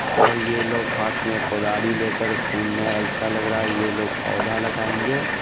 ओर ये लोग हाथ मे कुल्हाडी लेकर घूम ने ऐसा लग रहा है ये लोग पौधा लगाएंगे।